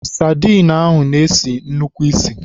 Sadịn ahụ na-esi nnukwu isì.